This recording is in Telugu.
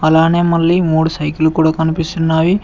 అలానే మళ్లీ మూడు సైకిల్ కూడా కనిపిస్తున్నావి.